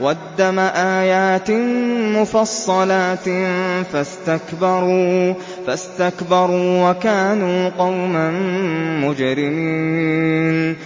وَالدَّمَ آيَاتٍ مُّفَصَّلَاتٍ فَاسْتَكْبَرُوا وَكَانُوا قَوْمًا مُّجْرِمِينَ